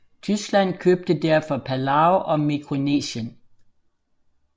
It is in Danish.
Tyskland købte derfor Palau og Mikronesien